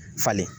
Falen